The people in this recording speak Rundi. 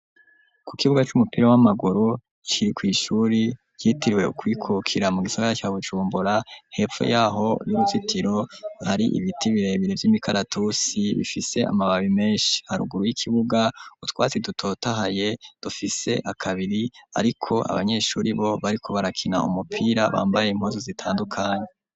Ku kibuga c'umupira w'amaguru ciri kw'ishuri yitiriwe ukwikukira mu gisagara ca bucumbura hepfu yaho y'uruzitiro hari ibiti birebire vy'imikaratusi bifise amababi menshi haruguru y'ikibuga utwatsi dutotahaye dufise akabiri, ariko abanyeshuri bo bariko barakina umupira abambaye impozu zitandukanyi.